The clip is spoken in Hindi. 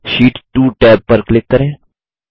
शीट 2 टैब पर क्लिक करें